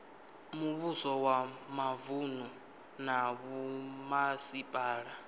muvhuso wa mavunu na vhomasipala